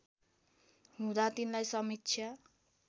हुँदा तिनलाई समीक्षा